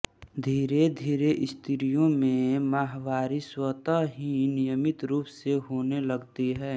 धीरेधीरे स्त्रियों में माहवारी स्वतः ही नियमित रूप से होने लगती है